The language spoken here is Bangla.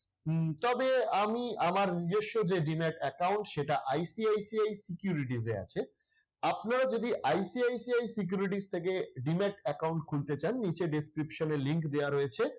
উম তবে আমি আমার নিজস্ব যে demat account সেটা ICICI securities এ আছে। আপনারা যদি ICICI securities থেকে demat account খুলতে চান নিচে description এ link দেওয়া রয়েছে,